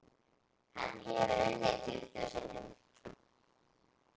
Hann hefur unnið tuttugu sinnum.